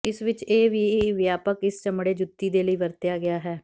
ਇਸ ਵਿਚ ਇਹ ਵੀ ਵਿਆਪਕ ਇਸ ਚਮੜੇ ਜੁੱਤੀ ਦੇ ਲਈ ਵਰਤਿਆ ਗਿਆ ਹੈ